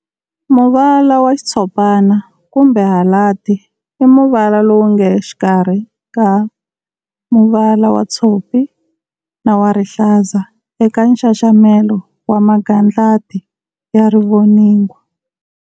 Muvala wa Xitshopana Kumbe Halandi, i muvala lowunge xikarhi ka muvala wa tshopi na wa rihlaza eka nxaxamelo wa magandlati ya rivoningo.